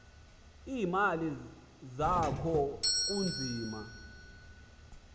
iimali zakho kunzima